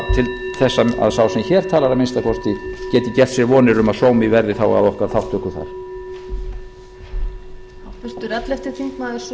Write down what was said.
sem hér talar að minnsta kosti geti gert sér vonir um að sómi verði þá að okkar þátttöku þar